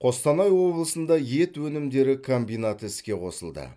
қостанай облысында ет өнімдері комбинаты іске қосылды